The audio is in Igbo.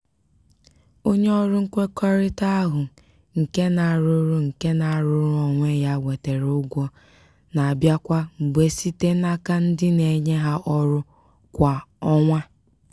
onye ọrụ nkwekọrịta ahụ nke na-arụrụ nke na-arụrụ onwe ya nwetara ụgwọ na-abịa kwa mgbe site n'aka ndị na-enye ha ọrụ kwa ọnwa.